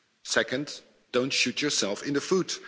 Second, don't shoot yourself in the foot.